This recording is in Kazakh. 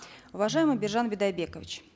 уважаемый биржан бидайбекович